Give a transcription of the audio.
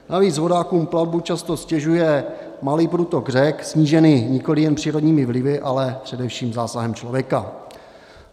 Navíc vodákům plavbu často ztěžuje malý průtok řek, snížený nikoliv jen přírodními vlivy, ale především zásahem člověka.